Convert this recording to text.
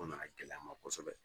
O nana gɛlɛya n ma kosɛbɛ